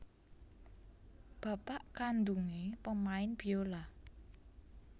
Bapak kandhungé pemain biola